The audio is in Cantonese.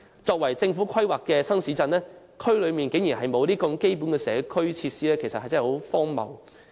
這些由政府規劃的新市鎮竟然沒有提供這些基本社區設施，真的十分荒謬。